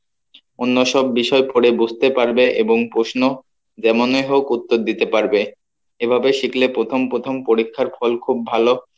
অন্য সব বিষয় পড়ে বুঝতে পারবে এবং প্রশ্ন যেমনই হোক উত্তর দিতে পারবে এভাবে শিখলে প্রথম প্রথম পরীক্ষার ফল খুব ভালো